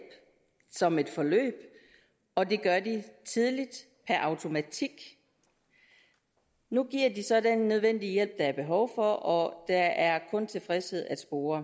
som et forløb og det gør de tidligt per automatik nu giver de så den nødvendige hjælp der er behov for og der er kun tilfredshed at spore